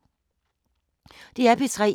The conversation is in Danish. DR P3